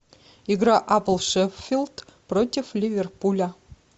игра апл шеффилд против ливерпуля